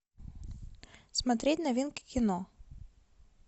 смотреть новинки кино